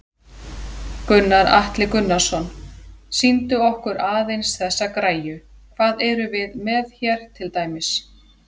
Gunnar Atli Gunnarsson: Sýndu okkur aðeins þessa græju, hvað erum við með hér til dæmis?